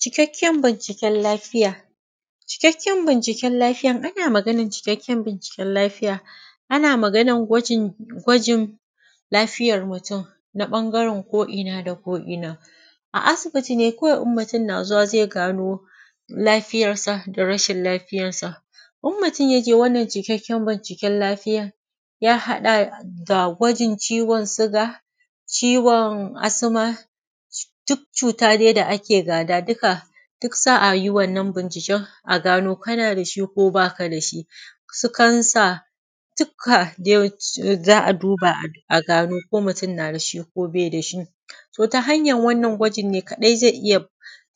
Cikakken binciken lafiya, cikakken binciken lafiya ana maganan cikakken binciken lafiya ana magana gwajin gwajin lafiyar mutum. Na ɓangaren ko’ina da ko’ina. A asibiti ne kawai in mutum yana zuwa zai gano lafiyarsa da rashin lafiyarsa. In mutum ya je wannan cikakken binciken lafiya, ya haɗa da gwajin ciwon siga, ciwon asima duk cuta dai da ake gada duka, duk za a yi wannan binciken a gano kana da shi ko ba ka da shi. Su kansa duka dai za a duba a gano ko mutum yana da shi ko bai da shi. To ta hanyan wannan gwajin ne kaɗai zai iya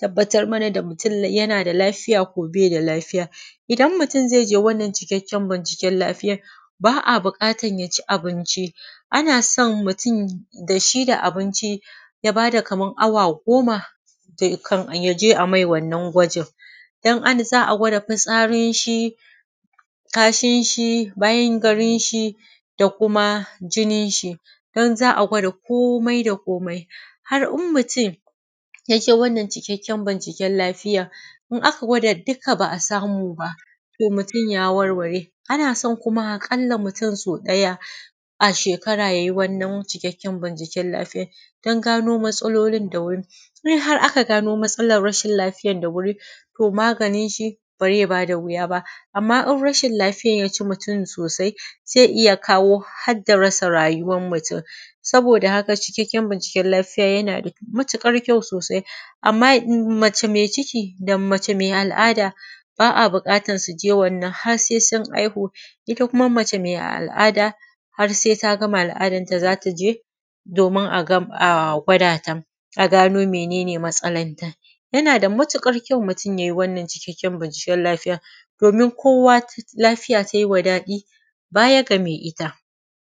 tabbatar mana da mutum yana da lafiya ko ba shi da lafiya. Idan mutum zai je wannan cikakken binciken lafiya ba a buƙatar mutum ya ci abinci. Ana san mutum da shi da abinci ya ba da kaman awa goma, kafin ya je a mai wannan gwajin, in za a gwada fitsarin shi kashin shi, bayan garin shi da kuma jinnin shi, nan za a gwada komai da komai. Har in mutum ya je wannan cikakken binciken lafiya, in aka gwada duka ba a samu ba to mutum ya warware. Ana so aƙalla so ɗaya shekara yay i wannan cikakken binciken lafiya don gano matsalolin da wuri, in har an gano matsalolin da wuri, to maganin shi ba zai ba da wuya ba. Amma in rashin lafiyan ya ci mutum sosai zai iya kawo har da rasa rayuwan mutum. Saboda haka cikakken binciken lafiya yana da mutuƙar kyau sosai, amma mace mai ciki da mace mai al’ada ba a buƙatan su je wannan har sai sun haihu, ita kuma mace mai al’ada har sai ta gama al’adanta za ta je, domin ta je a gwada ta a gano mene matsalanta. Yana da matuƙar kyau mutum yai wannan cikakken binciken lafiya, domin kowa lafiya tai ma daɗi baya ga mai ita.